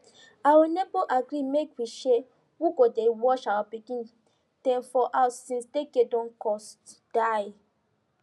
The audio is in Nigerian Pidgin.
our neighbor agree make we share who go dey watch our pikin dem for house since daycare don cost die